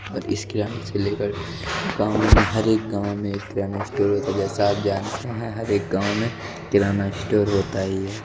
और इसके यहां से लेकर गांव में हर एक गांव में एक किराना स्टोर होता है जैसा आप जानते हैं हर एक गांव में किराना स्टोर होता ही है।